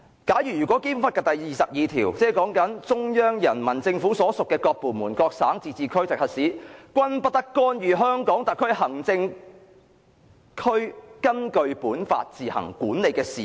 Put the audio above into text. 根據《基本法》第二十二條："中央人民政府所屬各部門、各省、自治區、直轄市均不得干預香港特別行政區根據本法自行管理的事務。